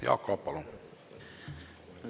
Jaak Aab, palun!